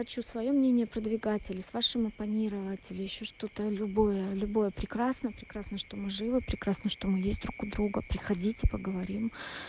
хочу своё мнение про двигатель с вашим оппонировать или ещё что-то любое любое прекрасно прекрасно что мы живы прекрасно что мы есть друг у друга приходите поговорим